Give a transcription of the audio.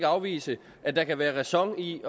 afvise at der kan være ræson i